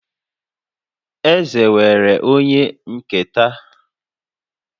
Eze nwere onye nketa